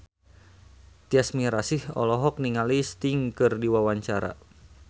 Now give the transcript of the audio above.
Tyas Mirasih olohok ningali Sting keur diwawancara